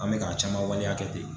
An bɛ ka caman waleya kɛ ten